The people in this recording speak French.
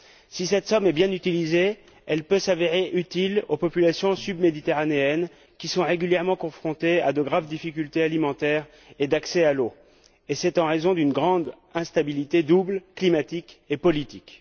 Si cette somme est bien utilisée, elle peut s'avérer utile aux populations sud méditerranéennes, qui sont régulièrement confrontées à de graves difficultés alimentaires et d'accès à l'eau et ce, en raison d'une grande instabilité double, climatique et politique.